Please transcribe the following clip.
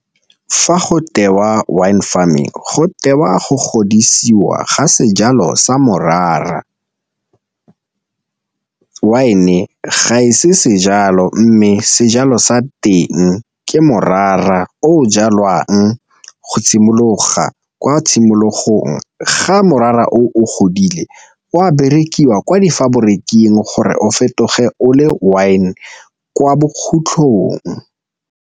Fa go tewa wine farming go tewa go godisiwa ga sejalo sa morara, wine ga e se sejalo mme sejalo sa teng ke morara o jalwang go simologa kwa tshimologong. Ga morara o, o godile o a berekiwa kwa difaboriking gore o fetoge o le wine kwa bokhutlhong.